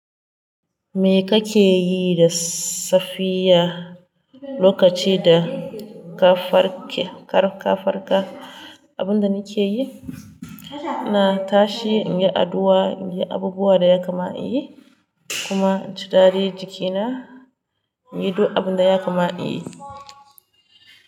Me kake yi da safiya lokaci da ka farka? Abin da nake yi, na tashi in yi addu'a, in yi abubuwan da ya kamata in yi kuma in ci dari jikina, in yi abin da ya kamata in yi.